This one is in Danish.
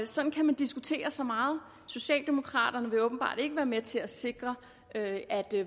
sådan kan man diskutere så meget socialdemokraterne vil åbenbart ikke være med til at sikre at